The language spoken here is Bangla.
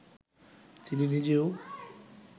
তিনি নিজেও